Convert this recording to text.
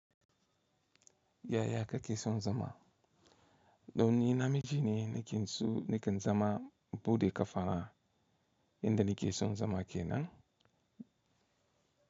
Yaya kake son zama? Do nni namiji ne nake so nake zama buɗe ƙafafa inda nake son zama kenan.